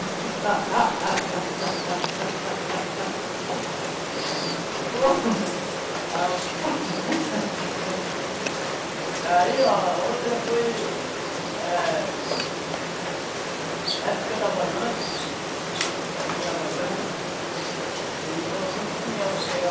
Rapaz. E aí outra foi eh época da vazante, época da vazante, ele colocou espinhel para pegar